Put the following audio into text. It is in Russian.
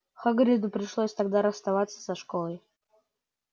хагриду пришлось тогда расстаться со школой